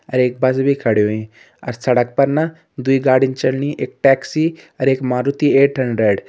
और एक बस भी खड़ी होईं अ सड़क पर न दुई गाड़ीन चलनी एक टैक्सी और एक मारुती एट हंड्रेड ।